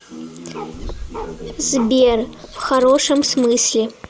сбер в хорошем смысле